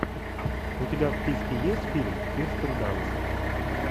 у тебя в списке есть фильм кирстен данст